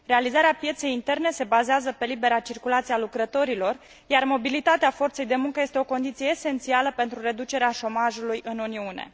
Realizarea pieței interne se bazează pe libera circulație a lucrătorilor, iar mobilitatea forței de muncă este o condiție esențială pentru reducerea șomajului în Uniune.